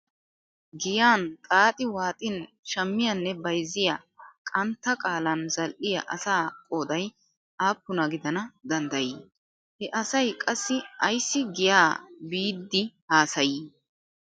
Giyan xaaxi waaxin shammiyanne bayzziya qantta qaalan zal"iya asaa qooday aappuna gidana danddayi? He asay qassi ayssi giya biidi haasayi?